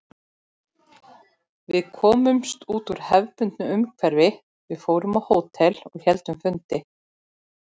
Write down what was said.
Við komumst út úr hefðbundnu umhverfi, við fórum á hótel og héldum fundi.